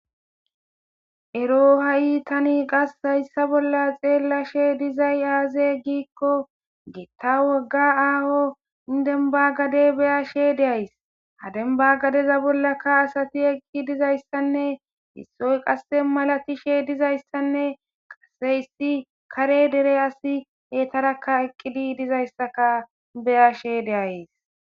ero ha7i tani qas hayssa bolla xeellashe dizay aaze giikko geetta wogga aaho indenbagade beyashe deays hadenbagadeza bollaka asati eqqi dizayssanne issoy qasse malatishe dizayssanne qaseysi kare dere asi hetarakka eqqidi dizayssaka beyashe deays